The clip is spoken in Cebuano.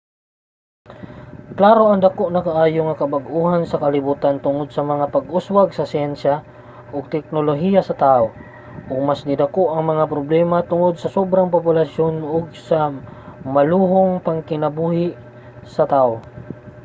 klaro nga dako na kaayo ang kabag-ohan sa kalibutan tungod sa mga pag-uswag sa siyensya ug teknolohiya sa tawo ug mas nidako ang mga problema tungod sa sobrang populasyon ug sa maluhong pagkinabuhi sa tawo